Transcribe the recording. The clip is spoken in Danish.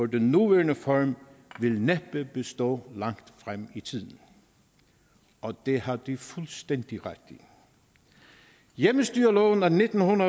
den nuværende form vil næppe bestå langt frem i tiden og det har de fuldstændig ret i hjemmestyreloven af nitten